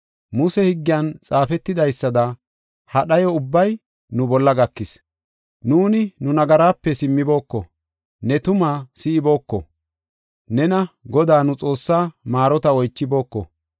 Muse Higgiyan xaafetidaysada, ha dhayo ubbay nu bolla gakis. Nuuni nu nagaraape simmibooko; ne tumaa si7ibooko; nena, Godaa, nu Xoossaa maarota oychibooko.